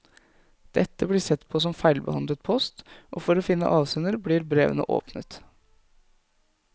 Dette blir sett på som feilbehandlet post, og for å finne avsender blir brevene åpnet.